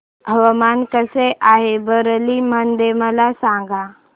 हवामान कसे आहे बरेली मध्ये मला सांगा